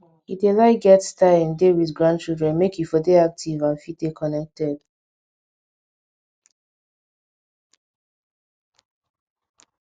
he dey like get time dey with grandchildren make e for dey active and fit dey connected